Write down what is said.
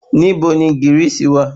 Ibo ni gírìsì wà?